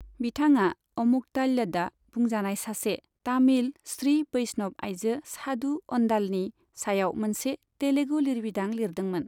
बिथाङा अमुक्तमाल्यदा बुंजानाय सासे तामिल श्री बैष्णव आइजो सादु अन्डालनि सायाव मोनसे तेलुगु लिरबिदां लिरदोंमोन।